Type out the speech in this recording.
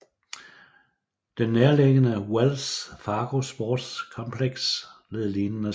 Den nærliggende Wells Fargo Sports Complex led lignende skade